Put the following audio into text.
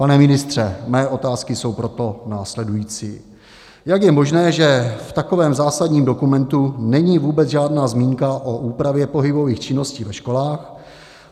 Pane ministře, mé otázky jsou proto následující: Jak je možné, že v takovém zásadním dokumentu není vůbec žádná zmínka o úpravě pohybových činností ve školách?